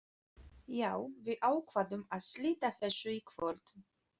Já, við ákváðum að slíta þessu í kvöld.